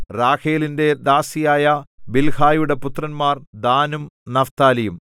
റാഹേലിന്റെ ദാസിയായ ബിൽഹായുടെ പുത്രന്മാർ ദാനും നഫ്താലിയും